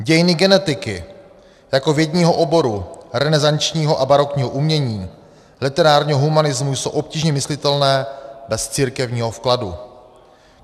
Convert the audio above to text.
Dějiny genetiky jako vědního oboru, renesančního a barokního umění, literárního humanismu jsou obtížně myslitelné bez církevního vkladu.